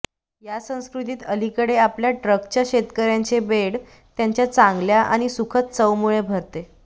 या संस्कृतीत अलीकडे आपल्या ट्रकच्या शेतकर्यांचे बेड त्यांच्या चांगल्या आणि सुखद चवमुळे भरते